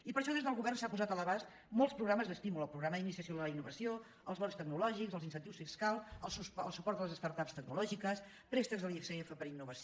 i per això des del govern s’han posat a l’abast molts programes d’estímul el programa d’iniciació a la in·novació els bons tecnològics els incentius fiscals el suport a les start ups tecnològiques préstecs de l’icf per a innovació